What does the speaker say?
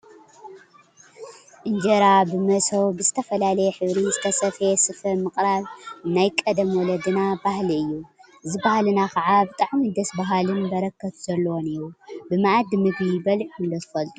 እንጀራ ብመሶብ /ብዝተፈላለየ ሕብሪ ዝተሰፈየ ስፈ/ምቅራብ ናይ ቀደም ወለድና ባህሊ እዩ፡፡ እዚ ባህሊና ከዓ ብጣዕሚ ደስ በሃሊን በረከት ዘለዎን እዩ፡፡ ብመአዲ ምግቢ በሊዕኩም ዶ ትፈልጡ?